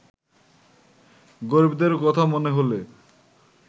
গরিবদের কথা মনে হ’লে